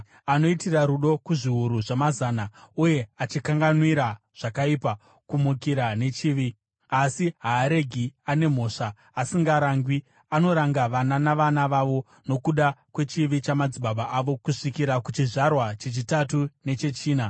anoitira rudo kuzviuru zvamazana, uye achikanganwira zvakaipa, kumukira nechivi. Asi haaregi ane mhosva asingarangwi; anoranga vana navana vavo nokuda kwechivi chamadzibaba avo kusvikira kuchizvarwa chechitatu nechechina.”